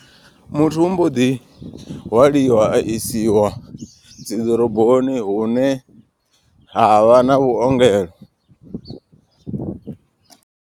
Muthu u mboḓi hwaliwa a isiwa dzi ḓoroboni hune ha vha na vhuongelo.